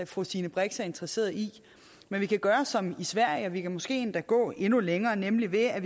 fru stine brix er interesseret i men vi kan gøre som i sverige og vi kan måske endda gå endnu længere nemlig ved at